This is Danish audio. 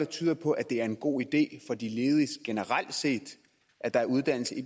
tyder på at det er en god idé for de ledige generelt set at der er uddannelse i